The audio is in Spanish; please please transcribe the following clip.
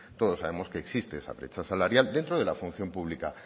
todos sabemos que existe esa brecha salarial dentro de la función pública